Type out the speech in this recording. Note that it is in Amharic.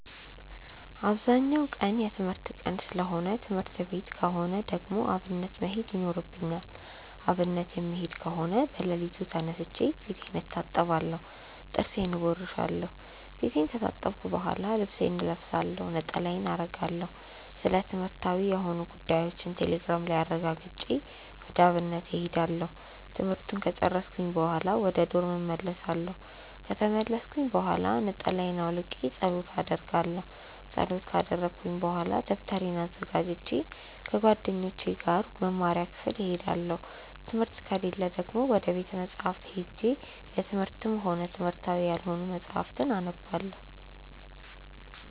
አብዛኛው ቀን የትምህርት ቀን ሰለሆነ ትምህርት ቀን ከሆነ ደግሞ አብነት መሄድ ይኖርብኛል። አብነት የምሄድ ከሆነ በለሊቱ ተነስቼ ፊቴን እታጠባለሁ ጥርሴን እቦርሻለው። ፊቴን ከታጠብኩ በሆላ ልብሴን እለብሳለሁ፣ ነጠላዬን አረጋለሁ፣ ስለትምህርትዊ የሆኑ ጉዳዮችን ቴሌግራም ላይ አረጋግጬ ወደ አብነት እሄዳለሁ። ትምህርቱን ከጨርስኩኝ በሆላ ወደ ዶርም እመልሳለው። ከተመለስኩኝ ብሆላ ነጠላየን አውልቄ ፀሎት አረጋለው። ፀሎት ከረኩኝ በሆላ ደብተሬን አዘጋጅቼ ከጓደኞቼ ጋር ወደ መምሪያ ክፍል እሄዳለው። ትምህርት ከሌለ ደግሞ ወደ ቤተ መፅሀፍት ሄጄ የትምህርትም ሆነ የትምህርታዊ ያልሆኑ መፅሀፍትን አነባለው።